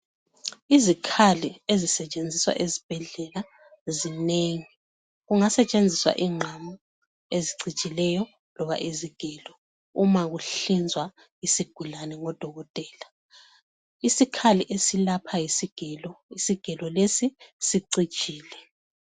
izikhali ezisetshenziswa ezibhedlela zinengi kungasetshenzi ingqamu ezicijileyo loba izigelo uma kuhlinzwa isigulane ngodokotela isikhali esilapha yisigelo isigelo lesi sicijile